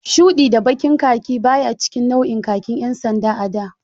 Shuɗi da baƙin khaki baya cikin nau'in khaki ƴan sanda a da.